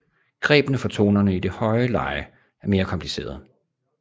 Grebene for tonerne i det høje leje er mere komplicerede